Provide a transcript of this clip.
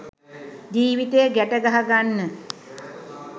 ජීවිතය ගැට ගහගන්න